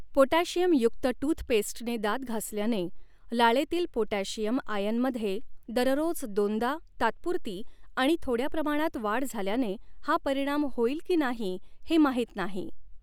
Potassium युक्त टूथपेस्टने दात घासल्याने लाळेतील पोटॅशियम आयनमध्ये दररोज दोनदा, तात्पुरती आणि थोड्या प्रमाणात वाढ झाल्याने हा परिणाम होईल की नाही हे माहित नाही.